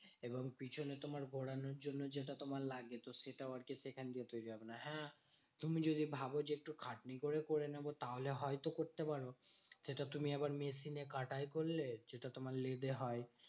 এবং পিছনে তোমার ঘোরানোর জন্য যেটা তোমার লাগে। তো সেটাও আরকি সেখান দিয়ে তৈরী হবে না। হ্যাঁ তুমি যদি ভাব যে, একটু খাটনি করে করে নেবো তাহলে হয়ত করতে পারবে। সেটা তুমি এবার machine এ কাটাই করলে, যেটা তোমার লেদে হয়।